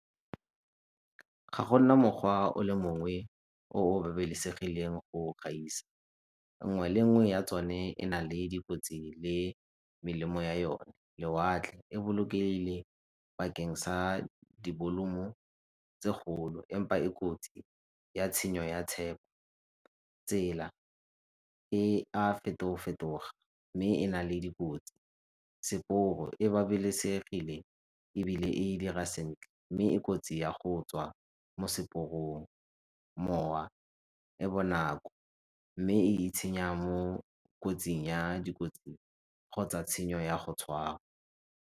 Ga go na mokgwa o le mongwe o o babalesegileng go gaisa, nngwe le nngwe ya tsone e na le dikotsi le melemo ya yone. Lewatle e bolokegile bakeng sa dibolumo tse golo, empa e kotsi ya tshenyo ya . Tsela e a feto-fetoga mme e na le dikotsi e babalesegile ebile e dira sentle mme e kotsi ya go tswa mo seporong, mowa e bonako mme e itshenya mo kotsing ya dikotsi kgotsa tshenyo ya go tshwarwa.